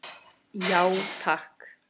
Já, takk.